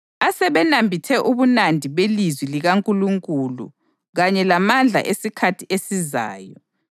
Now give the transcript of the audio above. asebenambithe ubumnandi belizwi likaNkulunkulu kanye lamandla esikhathi esizayo,